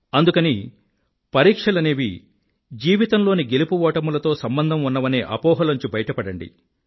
అందుకని పరిక్షలనేవి జీవితంలోని గెలుపు ఓటములతో సంబంధం ఉన్నవనే అపోహలోంచి బయట పడండి